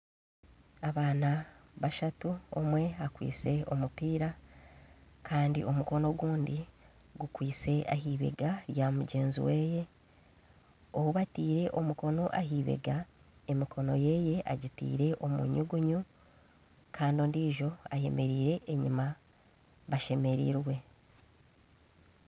Abaana bashatu omwe akwaitse omupiira Kandi omukono ogundi gukwaitse aheibega rya mugyezi we ou bataire omukono aheibega emikono. yeye agitaire omunyugunyu Kandi ondiijo ayemereire enyuma bashemereirwe